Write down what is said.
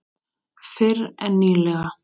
Fyrr en nýlega.